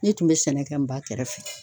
Ne tun bɛ sɛnɛ kɛ n ba kɛrɛfɛ.